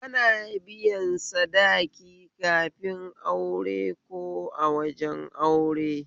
Ana biyan sadaki kafin aure ko a wajen aure